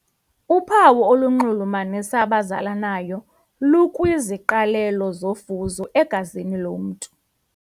Uphawu olunxulumanisa abazalanayo lukwiziqalelo zofuzo egazini lomntu.